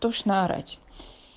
тошно орать